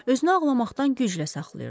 Özünü ağlamaqdan güclə saxlayırdı.